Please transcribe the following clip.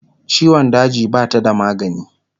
ciwon daji Bata da magani